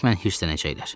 Hökmən hirslənəcəklər.